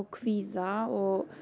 kvíða og